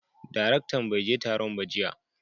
daraktan baije Taron ba jiya.